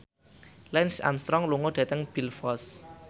Lance Armstrong lunga dhateng Belfast